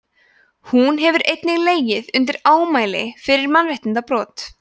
hún hefur einnig legið undir ámæli fyrir mannréttindabrot